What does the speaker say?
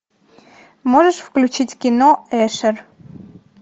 можешь включить кино эшер